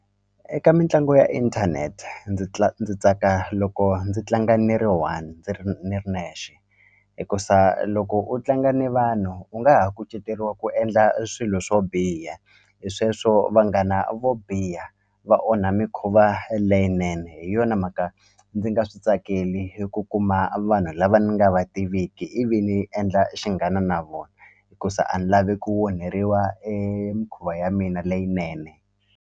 Eka mitlangu ya inthanete ndzi ndzi tsaka loko ndzi tlanga ni ri one ni ri nexe hikusa loko u tlanga ni vanhu u nga ha kuceteriwa ku endla swilo swo biha hi sweswo vanghana vo biha va onha mikhuva leyinene hi yona mhaka ndzi nga swi tsakeli eku kuma vanhu lava ni nga va tiviki ivi ni endla xinghana na vona hikuza a ni lavi ku onheriwa emikhuva ya mina leyinene.